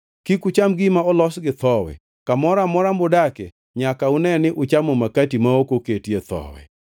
Kik ucham gima olos gi thowi. Kamoro amora mudakie nyaka une ni uchamo makati ma ok oketie thowi.”